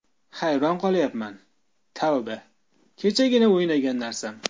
Hayron qolyapman, tavba, kechagina o‘ynagan narsam.